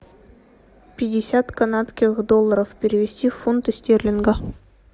пятьдесят канадских долларов перевести в фунты стерлингов